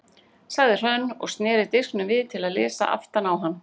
sagði Hrönn og sneri disknum við til að lesa aftan á hann.